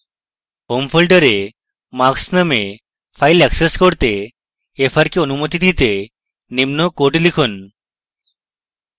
home folder marks নামক file access করতে fr কে অনুমতি দিতে নিম্ন code লিখুন